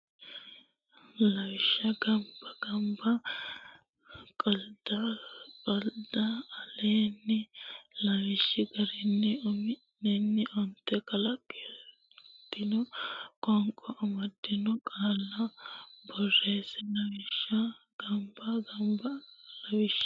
Lawishsha gambba gamba qaldda qalda Aleenni lawishshi garinni umi nenni onte kadantino qoonqo amaddino qaalla borreesse Lawishsha gambba gamba Lawishsha.